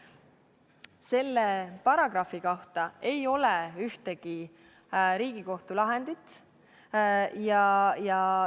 Selle paragrahvi kohta ei ole ühtegi Riigikohtu lahendit.